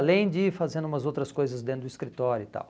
Além de ir fazendo umas outras coisas dentro do escritório e tal.